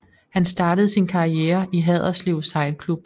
Han startede sin karriere i Haderslev sejlklub